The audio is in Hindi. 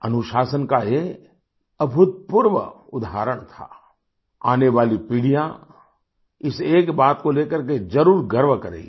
अनुशासन का ये अभूतपूर्व उदहारण था आने वाली पीढ़ियाँ इस एक बात को लेकर के जरुर गर्व करेगी